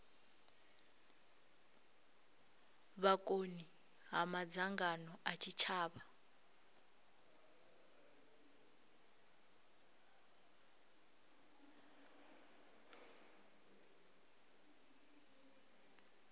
vhukoni ha madzangano a tshitshavha